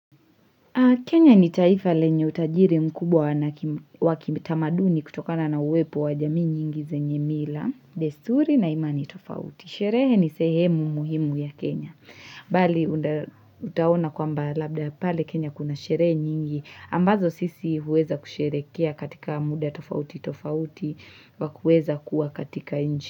Kenya ni taifa lenye utajiri mkubwa wa kitamaduni kutokana na uwepo wa jamii nyingi zenye mila, desturi na imani tofauti. Sherehe ni sehemu muhimu ya Kenya. Bali, utaona kwamba labda pale Kenya kuna sherehe nyingi. Ambazo sisi huweza kusherehekea katika muda tofauti tofauti wa kuweza kuwa katika nchi.